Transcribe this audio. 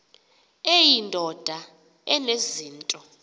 eyi ndoda enezinto